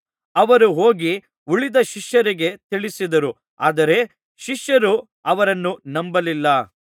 ಅವರು ಹೋಗಿ ಉಳಿದ ಶಿಷ್ಯರಿಗೆ ತಿಳಿಸಿದರು ಆದರೆ ಶಿಷ್ಯರು ಅವರನ್ನೂ ನಂಬಲಿಲ್ಲ